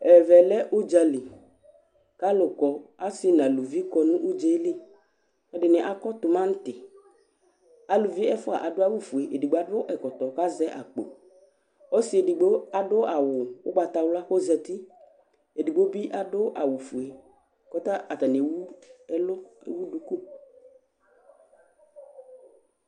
ɛvɛ lɛ udza li k'alu kɔ asi nu aluvi kɔ n'udzɛli ɛdini akɔ tumanti aluvi ɛfua adu awu fue, edigbo adu ɛkɔtɔ ku azɛ akpo, ɔsi edigbo adu awu ugbata wla ku ozati , edigbo bi adu awu fue kɔta , ata ni ewu ɛlu, ewu duku